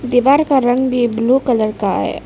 दीवार का रंग भी ब्लू कलर का है।